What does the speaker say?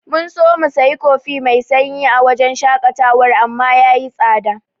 Mun so mu sayi kofi mai sanyi a wajen shaƙatawar amma yayi tsada.